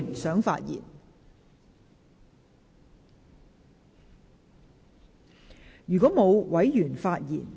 是否有委員想發言？